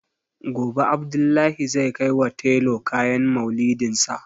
Gobe Abdullahi zai kaiwa tailor kayan Maulidinsa.